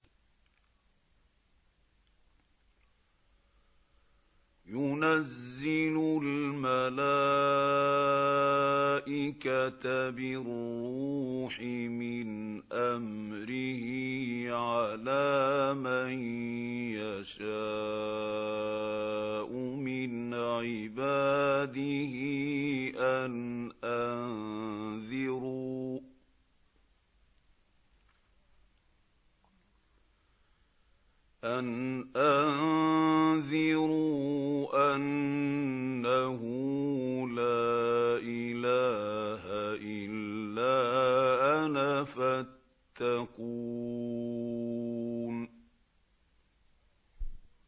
يُنَزِّلُ الْمَلَائِكَةَ بِالرُّوحِ مِنْ أَمْرِهِ عَلَىٰ مَن يَشَاءُ مِنْ عِبَادِهِ أَنْ أَنذِرُوا أَنَّهُ لَا إِلَٰهَ إِلَّا أَنَا فَاتَّقُونِ